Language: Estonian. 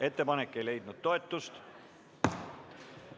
Ettepanek ei leidnud toetust.